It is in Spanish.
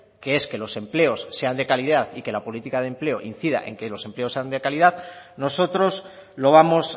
que es que los empleos sean de calidad y que la política de empleo incida en que los empleos sean de calidad nosotros lo vamos